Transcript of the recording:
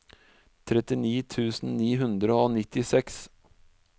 trettini tusen ni hundre og nittiseks